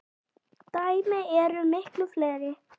Dæmin eru miklu fleiri.